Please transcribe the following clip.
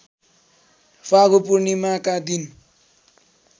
फागु पूर्णिमाका दिन